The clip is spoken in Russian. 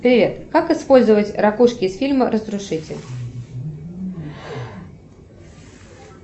привет как использовать ракушки из фильма разрушитель